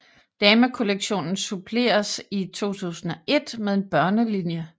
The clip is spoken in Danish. Damekollektionen suppleredes i 2001 med en børnelinje